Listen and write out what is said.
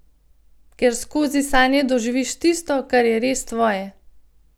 Ker skozi sanje doživiš tisto, kar je res tvoje.